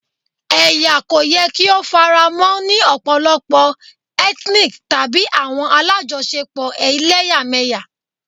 Ẹya ko yẹ ki o faramọ ni ọpọlọpọ-hinic tabi awọn alajọṣepọ ẹlẹyamẹya